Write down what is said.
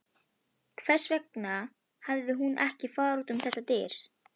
Hvers vegna hafði hún ekki farið út um þessar dyr?